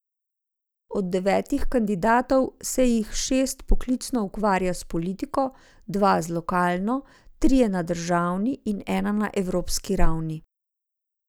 Od devetih kandidatov se jih šest poklicno ukvarja s politiko, dva z lokalno, trije na državni in ena na evropski ravni.